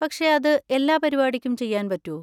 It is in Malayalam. പക്ഷെ അത് എല്ലാ പരിപാടിക്കും ചെയ്യാൻ പറ്റോ?